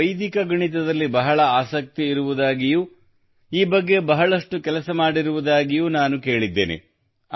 ನಿಮಗೆ ವೈದಿಕ ಗಣಿತದಲ್ಲಿ ಬಹಳ ಆಸಕ್ತಿ ಇರುವುದಾಗಿಯೂ ಈ ಬಗ್ಗೆ ಬಹಳಷ್ಟು ಕೆಲಸ ಮಾಡಿರುವುದಾಗಿಯೂ ನಾನು ಕೇಳಿದ್ದೇನೆ